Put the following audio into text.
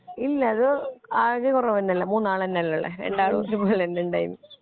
ഇല്ല അത് ആളുകള് കൊറവ് തന്നെയല്ലേ മൂന്നാള്ന്നെയാല്ലേരണ്ടാളും ഒരുപോലെൻനായ ഉണ്ടായേ